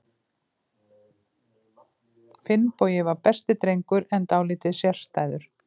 Finnbogi var besti drengur, en dálítið sérstæður.